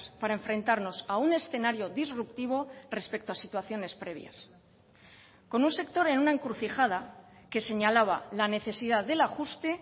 para enfrentarnos a un escenario disruptivo respecto a situaciones previas con un sector en una encrucijada que señalaba la necesidad del ajuste